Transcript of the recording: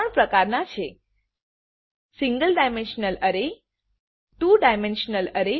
single dimensional array two dimensional array અને two dimensional array multi dimensional અરે